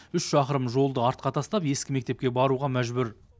үш шақырым жолды артқа тастап ескі мектепке баруға мәжбүр